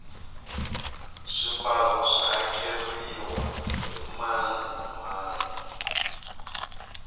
swibalo swa hakeriwa hi mani na mani